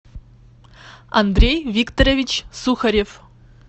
андрей викторович сухарев